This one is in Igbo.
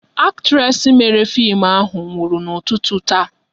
Actres mere fim ahụ nwụrụ n'ụtụtụ taa